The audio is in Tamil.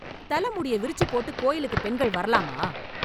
தல முடிய விரிச்சு போட்டு கோயிலுக்குப் பெண்கள் வரலாமா?